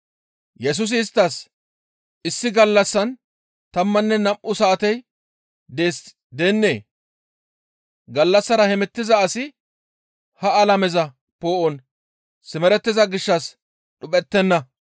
Yesusi isttas, «Issi gallassan tammanne nam7u saatey dees deennee? Gallassara hemettiza asi ha alameza poo7on simerettiza gishshas dhuphettenna.